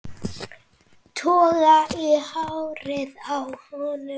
Toga í hárið á honum.